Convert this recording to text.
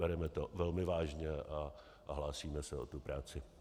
Bereme to velmi vážně a hlásíme se o tu práci.